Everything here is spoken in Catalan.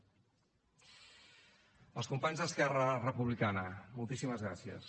als companys d’esquerra republicana moltíssimes gràcies